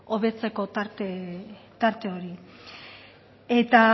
hobetzeko tarte hori eta